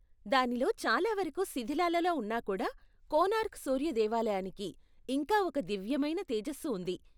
దానిలో చాలా వరకు శిధిలాలలో ఉన్నా కూడా కోణార్క్ సూర్య దేవాలయానికి ఇంకా ఒక దివ్యమైన తేజస్సు ఉంది.